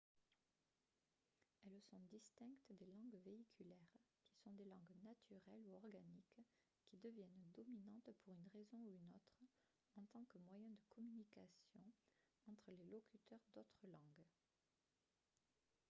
elles sont distinctes des langues véhiculaires qui sont des langues naturelles ou organiques qui deviennent dominantes pour une raison ou une autre en tant que moyen de communication entre les locuteurs d'autres langues